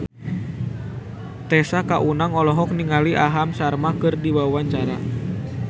Tessa Kaunang olohok ningali Aham Sharma keur diwawancara